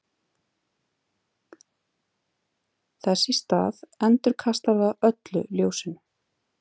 Þess í stað endurkastar það öllu ljósinu.